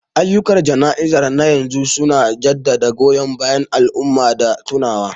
Ayyukan jana'izar na yanzu su na jaddada goyon bayan al'umma da tunawa.